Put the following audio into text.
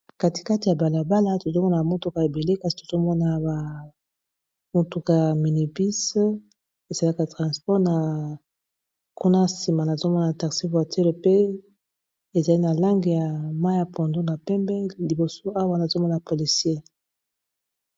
Kati kati ya balabala tozomona motuka ebele kasi tozomona ba motuka ya mini bus esalaka transport na kuna nsima nazomona taxi voiture pe ezali na langi ya mayi ya pondu na pembe liboso awa nazomona policier.